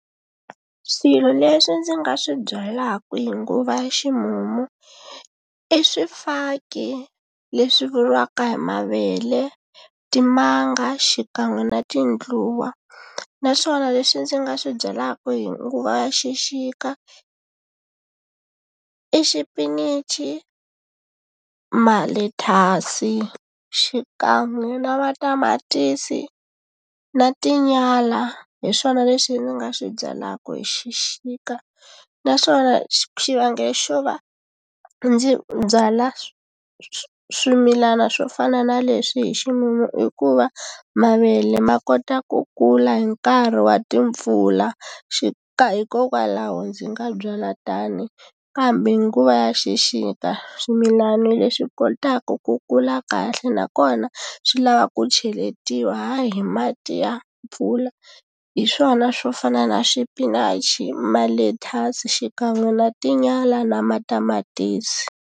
Swilo leswi ndzi nga swi byalaka hi nguva ya ximumu i swifaki leswi vuriwaka hi mavele timanga xikan'we na tindluwa naswona leswi ndzi nga swi byalaka hi nguva ya xixika i xipinichi malethyasi xikan'we na matamatisi na tinyala hi swona leswi ndzi nga swi byalaka hi xixika naswona xivangelo xo va ndzi byala swimilana swo fana na leswi hi ximumu i ku va mavele ma kota ku kula hi nkarhi wa timpfula xi ka hikokwalaho ndzi nga byala tani kambe hi nguva ya xixika swimilana leswi kotaka ku kula kahle nakona swi lava ku cheletiwa hi mati ya mpfula hi swona swo fana na swipinachi malethyasi xikan'we na tinyala na matamatisi.